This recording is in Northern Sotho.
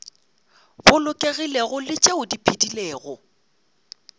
bolokegilego le tšeo di phedilego